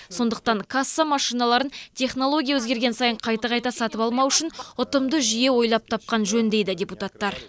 сондықтан касса машиналарын технология өзгерген сайын қайта қайта сатып алмау үшін ұтымды жүйе ойлап тапқан жөн дейді депутаттар